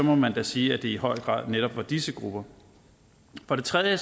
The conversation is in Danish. må man da sige at det i høj grad netop er disse grupper for det tredje